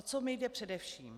O co mi jde především?